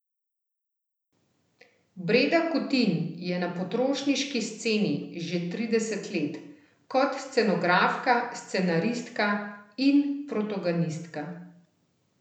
Breda Kutin je na potrošniški sceni že trideset let, kot scenografka, scenaristka in protagonistka.